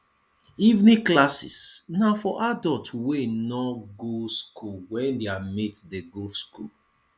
evening classes na for adults wey no go school when their mates de go school